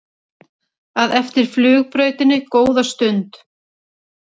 að eftir flugbrautinni góða stund.